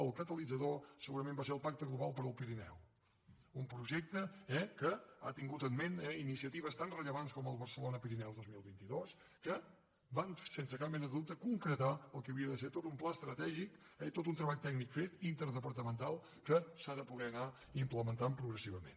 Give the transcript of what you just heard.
el catalitzador segurament en va ser el pacte global del pirineu un projecte que ha tingut al cap iniciatives tan rellevants com el barcelona pirineu dos mil vint dos que van sense cap mena de dubte concretar el que havia de ser tot un pla estratègic i tot un treball tècnic fet interdepartamental que s’ha de poder anar implementant progressivament